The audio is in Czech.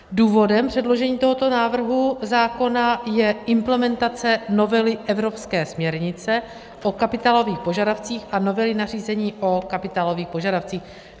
Důvodem předložení tohoto návrhu zákona je implementace novely evropské směrnice o kapitálových požadavcích a novely nařízení o kapitálových požadavcích.